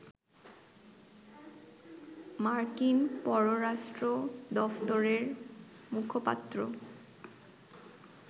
মার্কিন পররাষ্ট্র দফতরের মুখপাত্র